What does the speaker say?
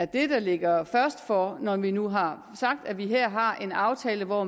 der ligger først for når vi nu har sagt at vi her har en aftale hvor